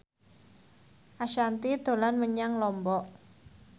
Ashanti dolan menyang Lombok